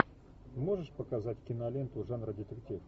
можешь показать киноленту жанра детектив